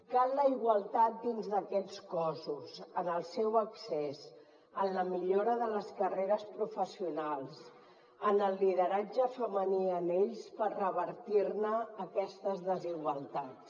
cal la igualtat dins d’aquests cossos en el seu accés en la millora de les carreres professionals en el lideratge femení en ells per revertir ne aquestes desigualtats